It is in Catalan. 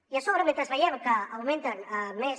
i a sobre mentre veiem que augmenten més